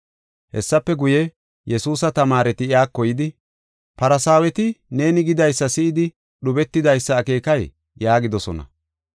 Hessafe guye, Yesuusa tamaareti iyako yidi, “Farsaaweti neeni gidaysa si7idi dhubetidaysa akeekay?” yaagidosona.